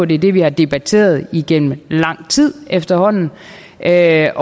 det er det vi har debatteret igennem lang tid efterhånden jeg